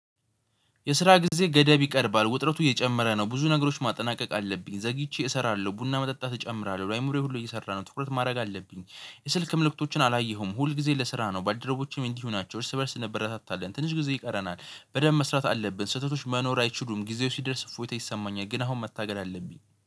የስራ ጊዜ ገደብ ይቀርባል ውጥረቱ እየጨመረ ነው ብዙ ነገሮች ማጠናቀቅ አለብኝ ዘግይቼ እሰራለሁ ቡና መጠጣት እጨምራለሁ ላይም ሁሉ እየሰራ ነው ትኩረት ማድረግ አለብኝ። የስልክ ምልክቶችን አላየሁም ሁል ጊዜ ለስራ ነው። በአደረቦቼም እንዲህ ሆናቸው እርስ በእርስ ነበር እንበረታታለን ትንሽ ጊዜ ይቀረናል። በደንብ መስራት አለብን ስህተቶች መኖር አይችሉም። ጊዜው ሲደርስ ፎቶ ይሰማኛል ግን አሁን መታገል አለብኝ